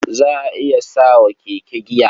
Za a iya sa wa keke giya.